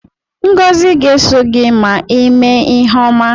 Ngozi ga-eso gị ma ị me ihe ọma.